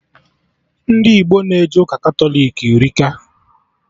Ndị Igbo na-eje ụka Katọlik erika